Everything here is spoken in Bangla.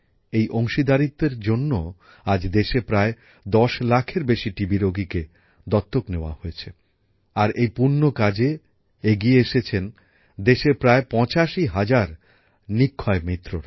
এই অংশিদারীত্বএর জন্য আজ দেশে প্রায় দশ লাখের বেশী টিবিরোগীকে দত্তক নেওয়া হয়েছে আর এই পূণ্য কাজে এগিয়ে এসেছেন দেশের প্রায় ৮৫ হাজার নিক্ষয়মিত্র